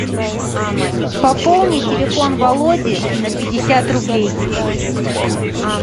пополни телефон володи на пятьдесят рублей